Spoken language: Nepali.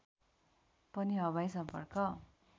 पनि हवाई सम्पर्क